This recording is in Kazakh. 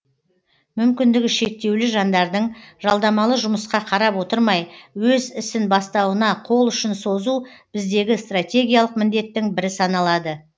мүмкіндігі шектеулі жандардың жалдамалы жұмысқа қарап отырмай өз ісін бастауына қол ұшын созу біздегі стратегиялық міндеттің бірі саналады